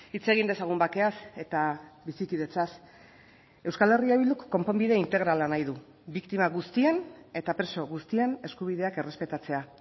hitz egin dezagun bakeaz eta bizikidetzaz euskal herria bilduk konponbide integrala nahi du biktima guztien eta preso guztien eskubideak errespetatzea